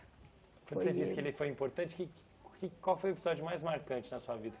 Quando você diz que ele foi importante, que o que qual foi o episódio mais marcante na sua vida?